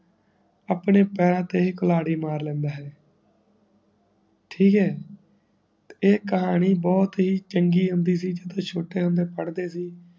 ਆਪਣੇ ਪੈਰਾਂ ਤੇ ਕੁਲਹਾੜੀ ਮਾਰ ਲੈਂਦਾ ਹੈ ਠੀਕ ਹੈ ਤੇ ਇਹ ਕਹਾਣੀ ਬਹੁਤ ਹੀ ਚੰਗੀ ਹੁੰਦੀ ਸੀ ਜਦੋ ਛੋਟੇ ਹੁੰਦੇ ਪੜ੍ਹਦੇ ਸੀ